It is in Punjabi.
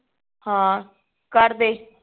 ਹਾਂ ਕੱਟ ਦੇ